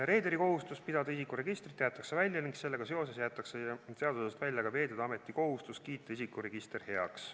Reederi kohustus pidada isikuregistrit jäetakse välja ning sellega seoses jäetakse seadusest välja ka Veeteede Ameti kohustus kiita isikuregister heaks.